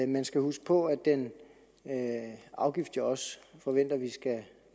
man skal huske på at den afgift jeg også forventer vi skal